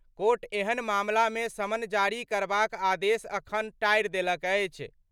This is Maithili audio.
कोर्ट एहन मामला मे समन जारी करबाक आदेश अखन टारि देलक अछि।